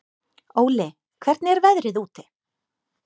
Óli, hvernig er veðrið úti?